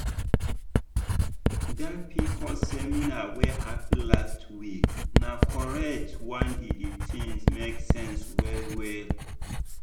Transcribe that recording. dat pcos seminar wey happen last week na correct one di di thing make sense well-well.